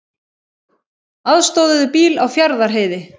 Aðstoðuðu bíl á Fjarðarheiði